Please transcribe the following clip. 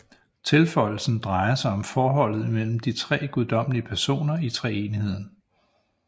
Tilføjelsen drejer sig om forholdet imellem de tre guddommelige personer i Treenigheden